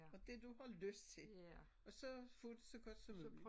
Og det du har lyst til og så få det så godt som muligt